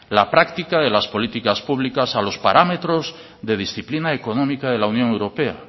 la práctica de las políticas públicas a los paramentos de disciplina económica de la unión europea